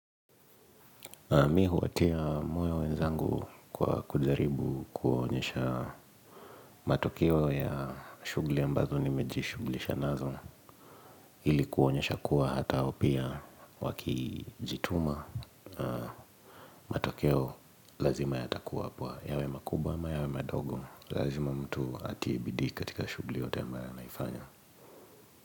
Mi huwatia moyo wenzangu kwa kujaribu kuonyesha matokeo ya shughuli ambazo nimejishughulisha nazo ili kuonyesha kuwa hata hao pia wakijituma matokeo lazima yatakuwa hapo yawe makubwa yawe madogo lazima mtu atie bidii katika shughuli yoyote ambayo anaifanya.